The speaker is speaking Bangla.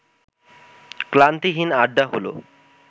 ক্লান্তিহীন আড্ডা হলো